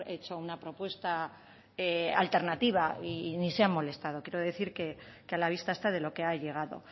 hecho una propuesta alternativa y ni se han molestado quiero decir que a la vista está de lo que ha llegado